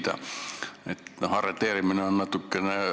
Kas on mingeid kontakte Kabuli kuberneriga ja teiste Eesti ametivõimudega?